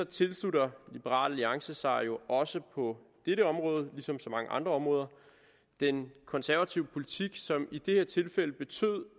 tilslutter liberal alliance sig også på dette område ligesom på så mange andre områder den konservative politik som i det her tilfælde betød